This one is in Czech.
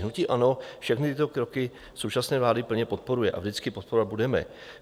Hnutí ANO všechny tyto kroky současné vlády plně podporuje a vždycky podporovat bude.